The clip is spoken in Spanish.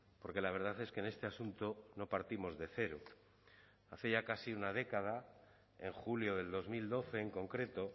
porque la verdad es que en este asunto no partimos de cero hace ya casi una década en julio del dos mil doce en concreto